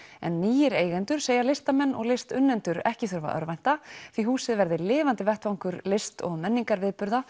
en nýir eigendur segja listamenn og listunnendur ekki þurfa að örvænta því húsið verði lifandi vettvangur list og menningarviðburða